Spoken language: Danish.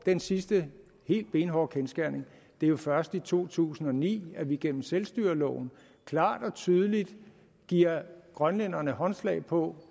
den sidste helt benhårde kendsgerning det er jo først i to tusind og ni at vi gennem selvstyreloven klart og tydeligt giver grønlænderne håndslag på